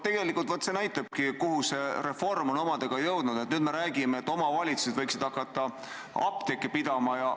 Tegelikult see näitabki, kuhu reform on omadega jõudnud: nüüd me räägime, et omavalitsused võiksid hakata apteeke pidama.